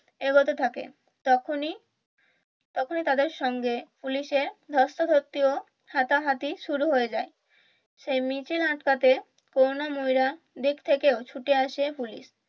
এগোতে থাকে তখনি তখনি তাদের সঙ্গে পুলিশের ধস্তাধস্তি ও হাতাহাতি শুরু হয়ে যায় সেই মিছিল আটকাতে করুণাময়ীর দিক থেকেও ছুটে আসে পুলিশ